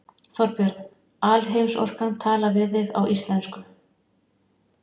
Þorbjörn: Alheimsorkan talar við þig á íslensku?